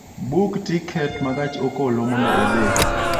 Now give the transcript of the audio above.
Buk tiket ma gach okolomondo idhi